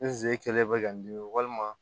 N ze kelen bɛ ka n dimi walima